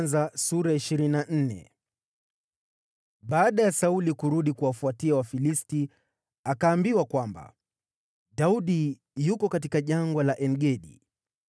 Baada ya Sauli kurudi kuwafuatia Wafilisti, akaambiwa kwamba, “Daudi yuko katika Jangwa la En-Gedi.”